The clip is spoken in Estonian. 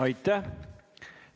Aitäh!